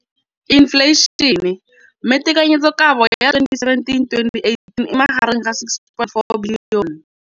Infleišene, mme tekanyetsokabo ya 2017, 18, e magareng ga R6.4 bilione.